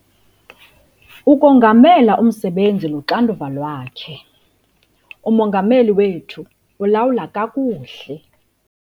Ukongamela umsebenzi luxanduva lwakhe. Umongameli wethu ulawula kakuhle